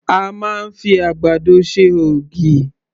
A máa ń fi àgbàdo ṣe ògì.